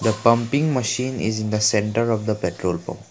pumping machine is in the center of the petrol pump.